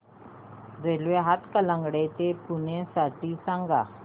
railway Hatkanangale ते पुणे साठी सांगा